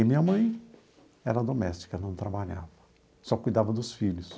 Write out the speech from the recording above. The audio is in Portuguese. E minha mãe era doméstica, não trabalhava, só cuidava dos filhos.